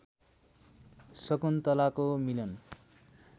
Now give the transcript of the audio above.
शकुन्तलाको मिलन